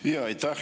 Aitäh!